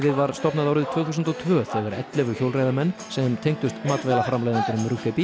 var stofnað árið tvö þúsund og tvö þegar ellefu hjólareiðamenn sem tengdust